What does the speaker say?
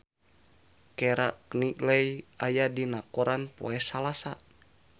Keira Knightley aya dina koran poe Salasa